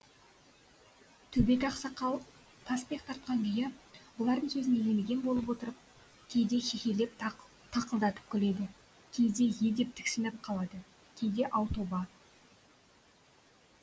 төбет ақсақал таспиқ тартқан күйі бұлардың сөзін елемеген болып отырып кейде хе хе хе леп тықылдатып күледі кейде е деп тіксініп қалады кейде ау тоба